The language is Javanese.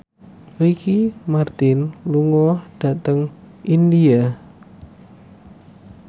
Ricky Martin lunga dhateng India